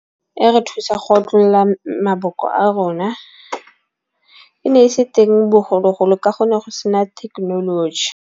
E re thusa go otlolla maboko a rona. E ne e se teng bogologolo ka go ne go sena thekenoloji.